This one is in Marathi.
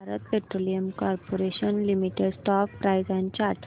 Bharat Petroleum Corporation Limited stock price and chart